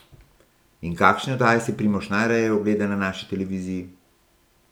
In kakšne oddaje si Primož najraje ogleda na naši televiziji?